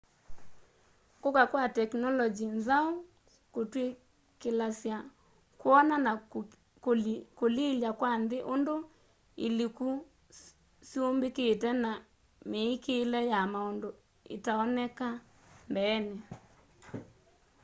kuka kwa tekinolongyi nzau kutwikilasya kwona na kulilya kwa nthini undu iliko syumbikite na miikile ya maundu itaoneka mbeeni